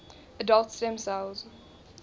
adult stem cells